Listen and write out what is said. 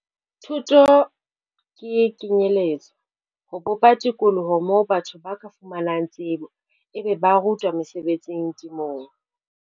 Thuto ke kenyeletso - ho bopa tikoloho moo batho ba ka fumanang tsebo, ebe ba rutwa mesebetsi temong.